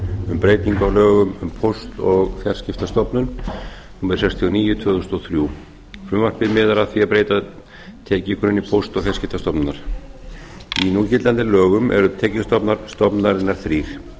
um breytingu á lögum um póst og fjarskiptastofnun númer sextíu og níu tvö þúsund og þrjú frumvarpið miðar að því að breyta tekjugrunni póst og fjarskiptastofnunar í núgildandi lögum eru tekjustofnar stofnunarinnar þrír